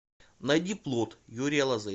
найди плот юрия лозы